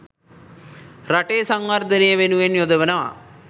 රටේ සංවර්ධනය වෙනුවෙන් යොදවනවා.